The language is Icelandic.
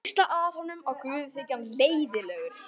Hvísla að honum að guði þyki hann leiðinlegur.